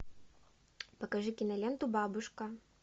покажи киноленту бабушка